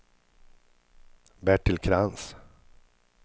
Bertil Krantz